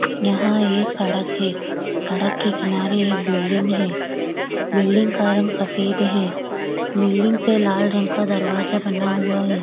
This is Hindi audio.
यहाँ एक सड़क है सड़क के किनारे एक बिल्डिंग है बिल्डिंग का रंग सफेद है बिल्डिंग पे लाल रंग का दरवाजा बना हुआ है।